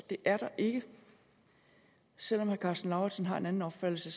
det er der ikke selv om herre karsten lauritzen har en anden opfattelse